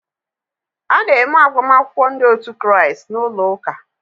A na-eme agbamakwụkwọ ndị otu Kraịst n'ụlọ ụka.